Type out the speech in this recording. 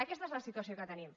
aquesta és la situació que tenim